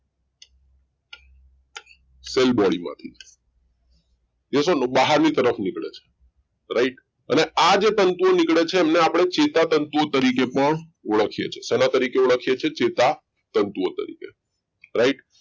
cell body માંથી એ શું બાહર ની તરફ નીકળે છે right અને આ જે તત્ત્વો નીકળે છે એમને આપણે ચેતાતંતુ તરીકે પણ ઓળખે છે જેના તરીકે ઓળખીએ છીએ ચેતાતંતુઓ તરીકે right